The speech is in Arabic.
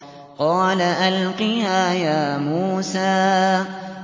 قَالَ أَلْقِهَا يَا مُوسَىٰ